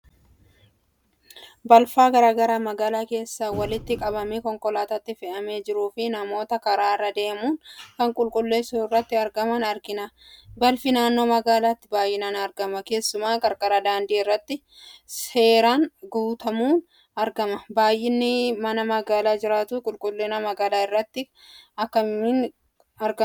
Balfa garaagaraa magaalaa keessaa walitti qabamee konkolaataatti fe'amaa jiruufi namoota karaarra deemuun kana qulqulleessuu irratti argaman arginaa. Balfi naannoo magaalaatti baayinaan argamaa keessumaa qarqara daandii irratti seeraan gatamuun argamaa. Baayinni nama magaalaa jiraatuu qulqullina magaalaa irratti dhiibbaa akkamii qabaa ?